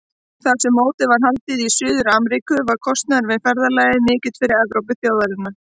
Þar sem mótið var haldið í Suður-Ameríku var kostnaður við ferðalagið mikill fyrir Evrópuþjóðirnar.